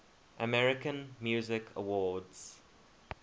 american music awards